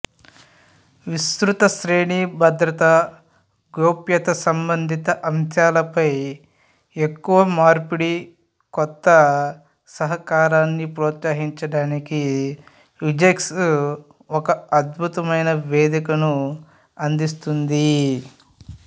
విస్తృత శ్రేణి భద్రత గోప్యతసంబంధిత అంశాలపై ఎక్కువ మార్పిడి కొత్త సహకారాన్ని ప్రోత్సహించడానికి విజ్సెక్ ఒక అద్భుతమైన వేదికను అందిస్తుంది